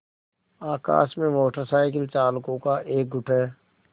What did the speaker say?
आकाश में motorcycle चालकों का एक गुट है